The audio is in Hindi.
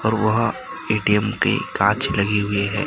और वहां ए_टी_एम पे कांच लगी हुई है।